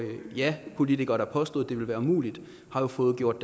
japolitikere der påstod det ville være umuligt har fået gjort